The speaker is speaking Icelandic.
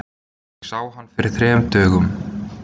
Ég sá hann fyrir þrem dögum.